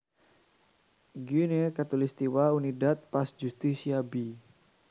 Guinea Khatulistiwa Unidad Paz Justicia b